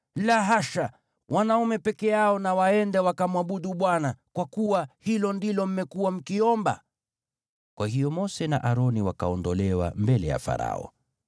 La hasha! Wanaume peke yao na waende, wakamwabudu Bwana , kwa kuwa hilo ndilo mmekuwa mkiomba.” Kwa hiyo Mose na Aroni wakaondolewa mbele ya Farao.